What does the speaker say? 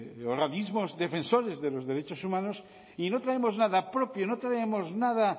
de organismos defensores de los derechos humanos y no traemos nada propio no traemos nada